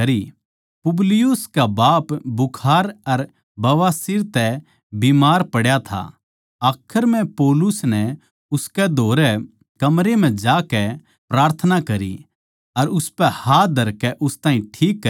पुबलियुस का बाप बुखार अर बवासीर तै बीमार पड्या था आखर म्ह पौलुस नै उसकै धोरै कमरे म्ह जाकै प्रार्थना करी अर उसपै हाथ धरकै उस ताहीं ठीक करया